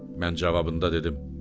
Mən cavabında dedim: